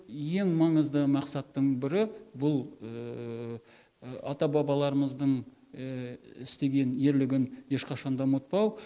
ең маңызды мақсаттың бірі бұл ата бабаларымыздың істеген ерлігін ешқашан да ұмытпау